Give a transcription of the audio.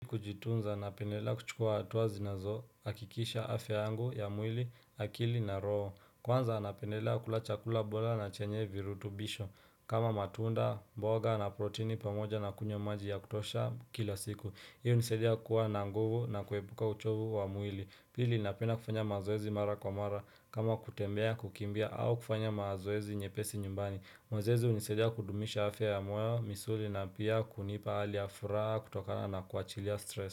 Kujitunza, napendelea kuchukua hatua zinazohakikisha afya yangu ya mwili, akili na roho. Kwanza napendelea kula chakula bora na chenye virutubisho, kama matunda, mboga na protini pamoja na kunywa maji ya kutosha kila siku. Hii hunisaidia kuwa na nguvu na kuepuka uchovu wa mwili. Pili napenda kufanya mazoezi mara kwa mara, kama kutembea, kukimbia au kufanya mazoezi nyepesi nyumbani. Mazoezi hunisaidia kudumisha afya ya moyo, misuli na pia kunipa hali ya furaha kutokana na kuachilia stress.